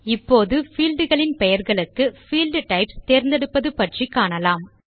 இப்போது பீல்ட் களின் பெயர்களுக்கு பீல்ட் டைப்ஸ் தேர்ந்தெடுப்பது பற்றி காணலாம்